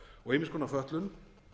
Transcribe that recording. og ýmiss konar fötlun